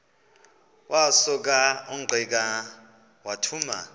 wasuka ungqika wathuma